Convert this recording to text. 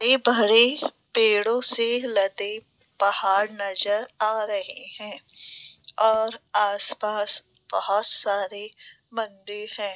ये बहरी पेड़ों से पेड़ों से लदे पहाड़ नजर आ रहे हैं और आस पास बहोत सारे मंदिर हैं।